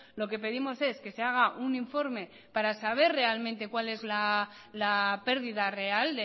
lo que pedimos es que se haga un informe para saber realmente cuál es la pérdida real